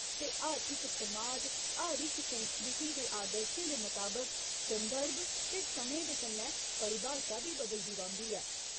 ते हर इक समाज, हर इक संस्कृति दे आदर्शें दे मताबक संदर्भ ते समें दे कन्नै परिभाशा बी बदलदी रौंह्दी ऐ।